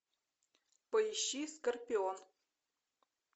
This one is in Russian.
поищи скорпион